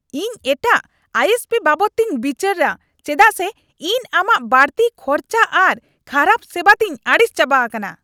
ᱤᱧ ᱮᱴᱟᱜ I S P ᱵᱟᱵᱚᱫ ᱛᱤᱧ ᱵᱤᱪᱟᱹᱨᱟ ᱪᱮᱫᱟᱜ ᱥᱮ ᱤᱧ ᱟᱢᱟᱜ ᱵᱟᱹᱲᱛᱤ ᱠᱷᱚᱨᱪᱟ ᱟᱨ ᱠᱷᱟᱨᱟᱵ ᱥᱮᱵᱟ ᱛᱤᱧ ᱟᱹᱲᱤᱥ ᱪᱟᱵᱟ ᱟᱠᱟᱱᱟ ᱾